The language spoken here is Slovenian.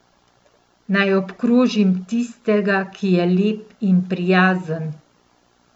Naj obkrožim tistega, ki je lep in prijazen?